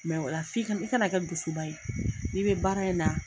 ola f'i kana i kana kɛ dusuba ye n'i bɛ baara in na.